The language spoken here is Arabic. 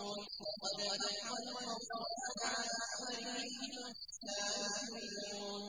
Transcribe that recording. لَقَدْ حَقَّ الْقَوْلُ عَلَىٰ أَكْثَرِهِمْ فَهُمْ لَا يُؤْمِنُونَ